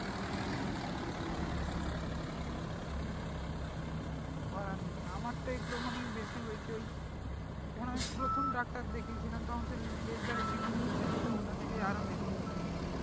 করার নেই আমারটা একদম মানে বেশি হয়েছে ওই যখন আমি প্রথম ডাক্তার দেখিয়ে ছিলাম তখন সেই laser এর treatment করেছিল ওটা থেকেই আরও বেশি হয়েছিল